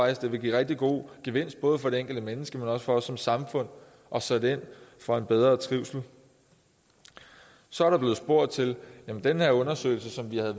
at det vil give rigtig god gevinst både for det enkelte menneske men også for os som samfund at sætte ind for en bedre trivsel så er der blevet spurgt til den her undersøgelse som vi har